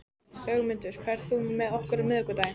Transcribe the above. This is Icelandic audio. Ögmunda, ferð þú með okkur á miðvikudaginn?